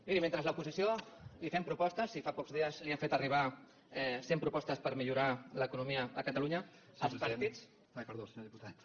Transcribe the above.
miri mentre l’oposició li fem propostes i fa pocs dies li hem fet arribar cent propostes per millorar l’economia a catalunya els partits